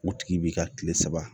O tigi b'i ka tile saba